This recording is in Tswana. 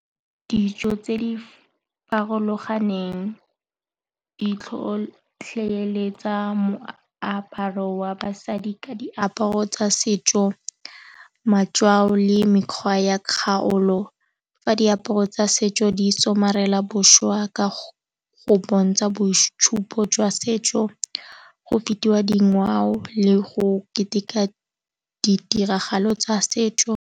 Dijo tse di farologaneng di tlhotlheletsa moaparo wa basadi ka diaparo tsa setso, matswalo le mekgwa ya kgaolo. Fa diaparo tsa setso di somarela bošwa ka go bontsha boitshupo jwa setso go fetiwa dingwao le go keteka ditiragalo tsa setso.